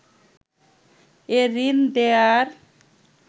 এ ঋণ দেয়ার